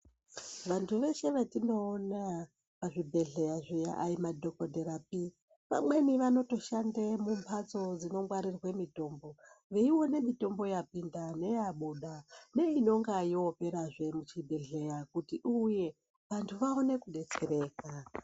Vantu veshe vetinoona pazvibhedhleya zviya hai madhokodherapi. Vamweni vanotoshande mumbatso dzinongwaririrwe mitombo, veione mitombo yapinda neyabuda, neinonga yoperazve muchibhedhleya kuti uuye vantu vaone kudetsereka.